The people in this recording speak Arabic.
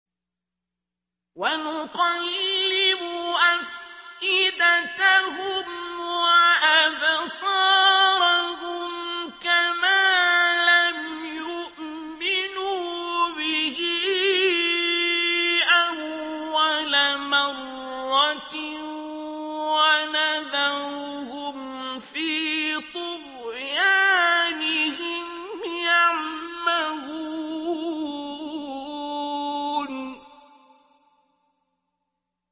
وَنُقَلِّبُ أَفْئِدَتَهُمْ وَأَبْصَارَهُمْ كَمَا لَمْ يُؤْمِنُوا بِهِ أَوَّلَ مَرَّةٍ وَنَذَرُهُمْ فِي طُغْيَانِهِمْ يَعْمَهُونَ